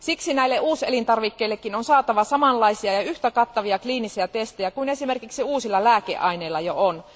Siksi näille uuselintarvikkeillekin on saatava samanlaisia ja yhtä kattavia kliinisiä testejä kuin esimerkiksi uusilla lääkeaineilla jo on.